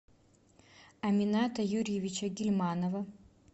амината юрьевича гильманова